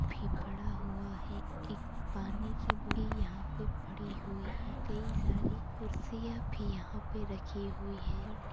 पड़ा हुआ है एक पानी की बोरी पड़ी हुई है कई सारी कुर्सियां भी यहां पे पड़ी हुई है।